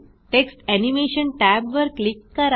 text animation टॅबवर click करा